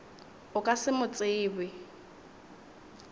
o ka se mo tsebe